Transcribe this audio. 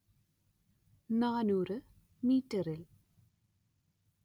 നാനൂറ് മീറ്ററിൽ